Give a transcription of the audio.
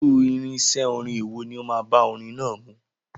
Irú irinṣẹ́ orin èwo ni ó máa bá orin náà mu?